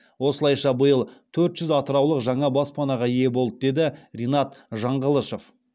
осылайша биыл төрт жүз атыраулық жаңа баспанаға ие болды деді ринат жаңғылышов